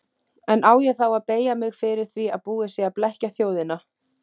En á ég þá að beygja mig fyrir því að búið sé að blekkja þjóðina.